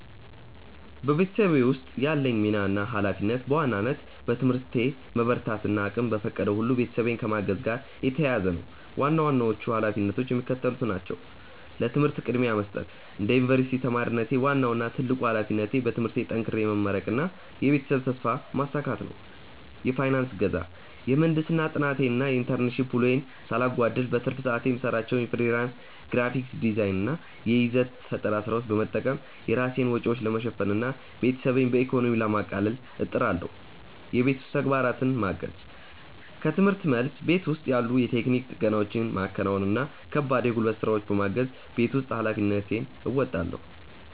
በቤተሰቤ ውስጥ ያለኝ ሚና እና ኃላፊነት በዋናነት በትምህርቴ መበርታት እና እቅሜ በፈቀደው ሁሉ ቤተሰቤን ከማገዝ ጋር የተያያዘ ነው። ዋና ዋናዎቹ ኃላፊነቶቼ የሚከተሉት ናቸው፦ ለትምህርት ቅድሚያ መስጠት፦ እንደ ዩኒቨርሲቲ ተማሪነቴ፣ ዋናው እና ትልቁ ኃላፊነቴ በትምህርቴ ጠንክሬ መመረቅና የቤተሰቤን ተስፋ ማሳካት ነው። የፋይናንስ እገዛ፦ የምህንድስና ጥናቴን እና የኢንተርንሺፕ ውሎዬን ሳላጓድል፣ በትርፍ ሰዓቴ የምሰራቸውን የፍሪላንስ ግራፊክ ዲዛይን እና የይዘት ፈጠራ ስራዎች በመጠቀም የራሴን ወጪዎች ለመሸፈን እና ቤተሰቤን በኢኮኖሚ ለማቃለል እጥራለሁ። የቤት ውስጥ ተግባራትን ማገዝ፦ ከርምህርት መልስ፣ ቤት ውስጥ ያሉ የቴክኒክ ጥገናዎችን ማከናወን እና ከባድ የጉልበት ስራዎችን በማገዝ የቤት ውስጥ ኃላፊነቴን እወጣለሁ።